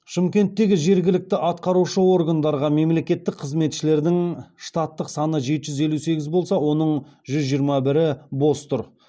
шымкенттегі жергілікті атқарушы органдарға мемлекеттік қызметшілердің штаттық саны жеті жүз елу сегіз болса оның жүз жиырма бірі бос тұр